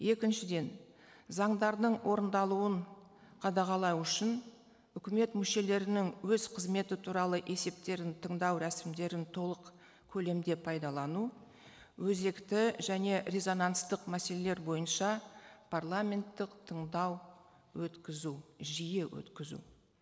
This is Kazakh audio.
екіншіден заңдардың орындалуын қадағалау үшін үкімет мүшелерінің өз қызметі туралы есептерін тыңдау рәсімдерін толық көлемде пайдалану өзекті және резонанстық мәселелер бойынша парламенттық тыңдау өткізу жиі өткізу